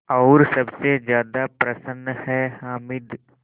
और सबसे ज़्यादा प्रसन्न है हामिद